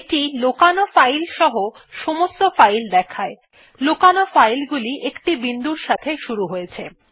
এটি লোকানো ফাইল সহ সমস্ত ফাইল দেখায় লোকানো ফাইল গুলি একটি বিন্দুর সাথে শুরু হয়েছে